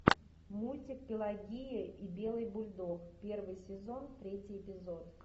мультик пелагея и белый бульдог первый сезон третий эпизод